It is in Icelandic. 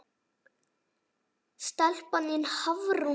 Stelpan þín, Hafrún Dóra.